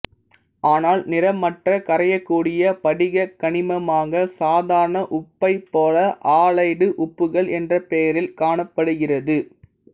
ஆனால் நிறமற்ற கரையக்கூடிய படிகக் கனிமமாக சாதாரண உப்பைப் போல ஆலைடு உப்புகள் என்ற பெயரில் காணப்படுகிறது